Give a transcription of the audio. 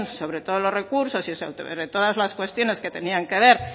sobre todos los recursos y sobre todas las cuestionen que tenían que ver